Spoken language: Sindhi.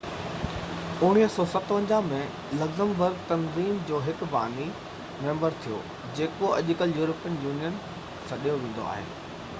1957 ۾ لگزمبرگ تنظيم جو هڪ باني ميمبر ٿيو جيڪو اڄڪلهه يورپين يونين سڏيو ويندو آهي